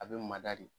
A bɛ mada de